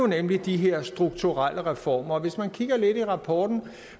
nemlig de her strukturelle reformer hvis man kigger lidt i rapporten